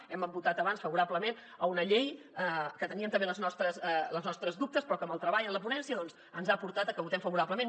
hem votat abans favorablement a una llei que teníem també els nostres dubtes però que el treball en la ponència doncs ens ha portat a que hi votem favorablement